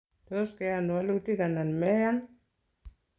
Tos, keyan walutik anan meyan?